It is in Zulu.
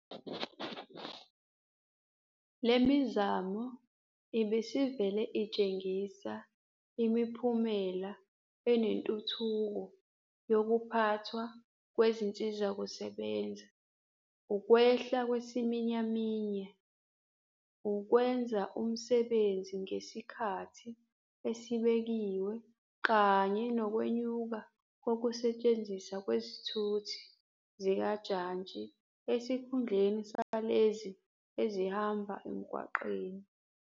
Le mizamo ibisivele itshengisa imiphumela enentuthuko yokuphathwa kwezinsizakusebenza, ukwehla kwesiminyaminya, ukwenza umsebenzi ngesikhathi esibekiwe kanye nokwenyuka kokuse tshenziswa kwezithuthi zikajantshi esikhundleni salezo ezihamba emgwaqeni.